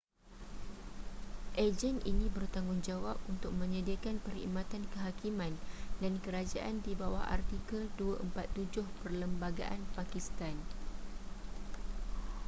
agen ini bertanggungjawab untuk menyediakan perkhidmatan kehakiman dan kerajaan di bawah artikel 247 perlembagaan pakistan